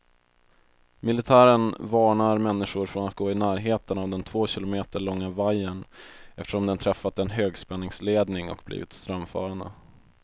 Militären varnar människor från att gå i närheten av den två kilometer långa vajern, eftersom den träffat en högspänningsledning och blivit strömförande.